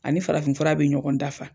Ani farafin fura bɛ ɲɔgɔn dafa.